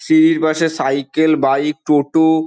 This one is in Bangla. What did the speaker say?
সিঁড়ির পাশে সাইকেল বাইক টোটো।